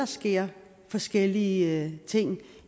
sker forskellige ting